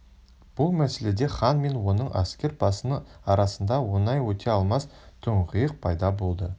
бұл мәселеде хан мен оның әскер басының арасында оңай өте алмас тұңғиық пайда болды